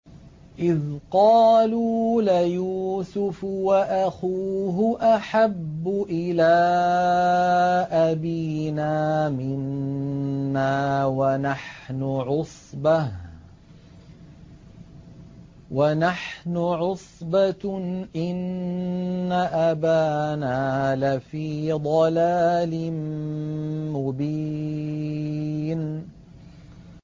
إِذْ قَالُوا لَيُوسُفُ وَأَخُوهُ أَحَبُّ إِلَىٰ أَبِينَا مِنَّا وَنَحْنُ عُصْبَةٌ إِنَّ أَبَانَا لَفِي ضَلَالٍ مُّبِينٍ